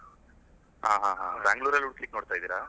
ಹಾ ಹಾ ಹಾ Bangalore ಅಲ್ಲಿ ಹುಡ್ಕುಲಿಕ್ಕೆ ನೋಡ್ತಾ ಇದ್ದೀರಾ?